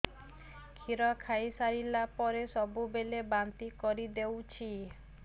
କ୍ଷୀର ଖାଇସାରିଲା ପରେ ସବୁବେଳେ ବାନ୍ତି କରିଦେଉଛି